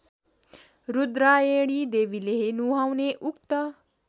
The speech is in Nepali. रूद्रायणीदेवीले नुहाउने उक्त